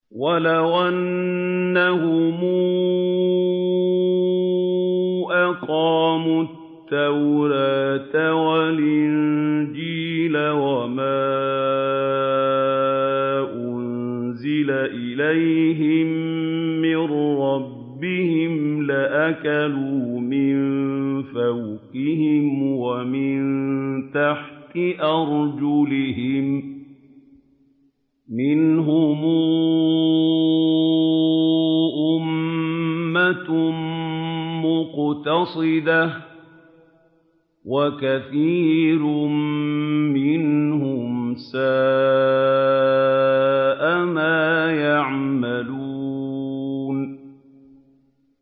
وَلَوْ أَنَّهُمْ أَقَامُوا التَّوْرَاةَ وَالْإِنجِيلَ وَمَا أُنزِلَ إِلَيْهِم مِّن رَّبِّهِمْ لَأَكَلُوا مِن فَوْقِهِمْ وَمِن تَحْتِ أَرْجُلِهِم ۚ مِّنْهُمْ أُمَّةٌ مُّقْتَصِدَةٌ ۖ وَكَثِيرٌ مِّنْهُمْ سَاءَ مَا يَعْمَلُونَ